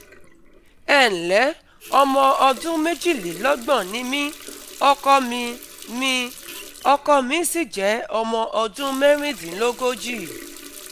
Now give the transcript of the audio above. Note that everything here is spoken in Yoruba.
Ẹ ǹlẹ́, ọmọ ọdún méjìlélọ́gbọ̀n ni mí, ọkọ mi mí, ọkọ mi sì jẹ́ ọmọ ọdún mẹ́rìndínlógójì